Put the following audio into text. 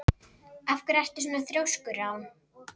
Af hverju ertu svona þrjóskur, Rán?